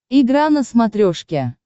игра на смотрешке